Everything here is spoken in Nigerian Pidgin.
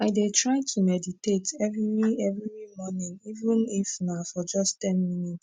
i dey try to meditate everi everi mornin even if na for just ten minutes